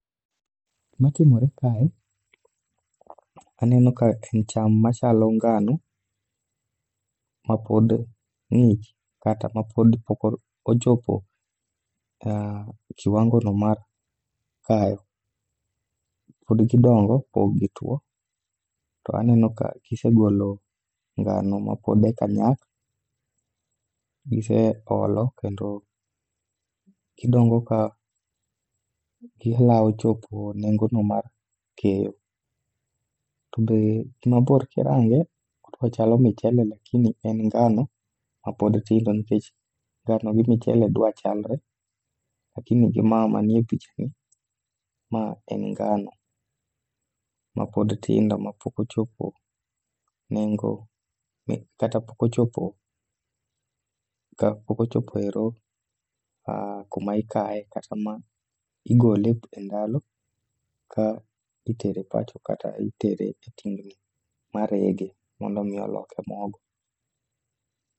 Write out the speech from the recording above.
Gima timore kae, aneno ka en cham machalo ngano mapod ng'ich kata mapodi pok ochopo e kiwango no mar kayo. Pod gidongo, pok gitwo to aneno ka gisegolo ngano mapod e ka nyak. Gise olo kendo gidongo ka gilawo chopo nengo no mar keyo. To be gimabor kirange, odwachalo michele lakini en ngano mapod tindo nikech ngano gi michele dwa chalre. Lakini gi ma ma nie picha ni en ngano ma pod tindo mapok ochopo nengo mi kata pok ochopo, ka pokochopoero kuma ikae kata ma igole e ndalo ka itere pacho kata itere e tingni marege mondo mioloke mogo.